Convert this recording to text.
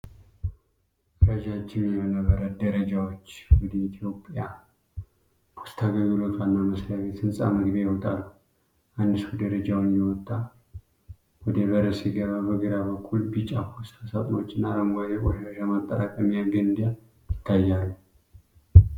ረጃጅም የእምነ በረድ ደረጃዎች ወደ ኢትዮጵያ ፖስታ አገልግሎት ዋና መስሪያ ቤት ህንጻ መግቢያ ይወጣሉ። አንድ ሰው ደረጃውን እየወጣ ወደ በር ሲገባ፣ በግራ በኩል ቢጫ ፖስታ ሳጥኖችና አረንጓዴ የቆሻሻ ማጠራቀሚያ ገንዳ ይታያሉ።